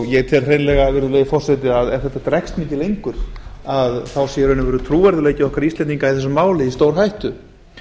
ég tel hreinlega virðulegi forseti að ef þetta dregst mikið lengur þá sé í raun og veru trúverðugleiki okkar íslendinga í þessu máli í stórhættu